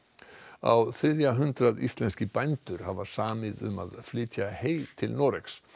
á þriðja hundrað íslenskir bændur hafa samið um að flytja hey til Noregs